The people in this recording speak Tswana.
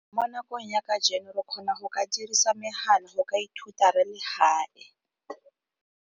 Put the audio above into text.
Mo nakong ya kajeno re kgona go ka dirisa megala go ka ithuta re le gae.